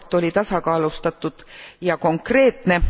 See raport oli tasakaalustatud ja konkreetne.